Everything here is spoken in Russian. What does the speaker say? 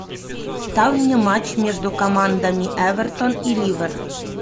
ставь мне матч между командами эвертон и ливер